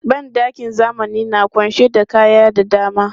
Ban ɗakin zamani na ƙunshe da kaya da dama.